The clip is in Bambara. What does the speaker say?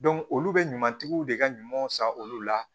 olu be ɲumantigiw de ka ɲumanw san olu la